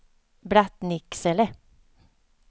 Blattnicksele